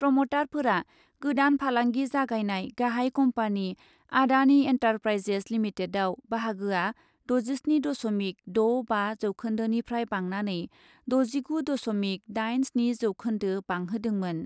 प्रमटारफोरा गोदान फालांगि जागायनाय गाहाय कम्पानी आडानि एन्टारप्राइजेज लिमिटेडआव बाहागोया द'जिस्नि दस'मिक द' बा जौखोन्दोनिफ्राय बांनानै द'जिगु दस'मिक दाइन स्नि जौखोन्दो बांहोदोंमोन ।